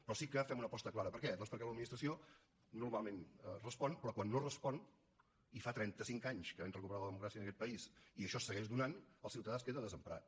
però sí que fem una aposta clara per què doncs perquè l’administració normalment respon però quan no respon i fa trenta cinc anys que vam recuperar la democràcia en aquest país i això se segueix donant el ciutadà es queda desemparat